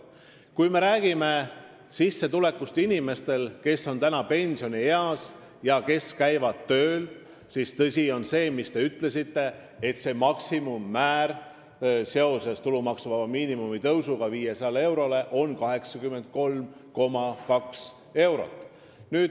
Kui me räägime nende inimeste sissetulekust, kes on pensionieas ja käivad tööl, siis tõsi on see, mis te ütlesite: seoses tulumaksuvaba miinimumi tõusuga 500 eurole on nende puhul maksimummäär 83,2 eurot.